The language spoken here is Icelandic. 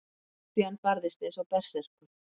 Christian barðist eins og berserkur.